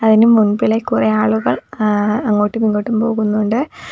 അതിന് മുമ്പിലായി കുറേ ആളുകൾ എ അങ്ങോട്ടും ഇങ്ങോട്ടും പോകുന്നുണ്ട്.